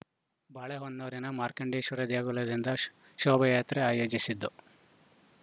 ಬಾಳೆಹೊನ್ನೂರಿನ ಮಾರ್ಕಾಂಡೇಶ್ವರ ದೇಗುಲದಿಂದ ಷ್ ಶೋಭಾಯಾತ್ರೆ ಆಯೋಜಿಸಿದ್ದು